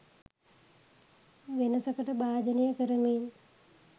වෙනසකට භාජනය කරමින්